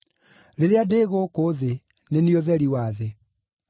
Rĩrĩa ndĩ gũkũ thĩ, nĩ niĩ ũtheri wa thĩ.”